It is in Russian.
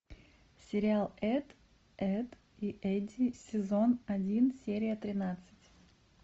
сериал эд эдд и эдди сезон один серия тринадцать